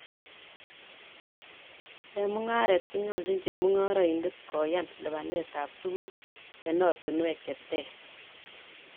Eng mungaret konyoljin chemungaraindet kooyan lipanetab tuguk eng ortinwek che ter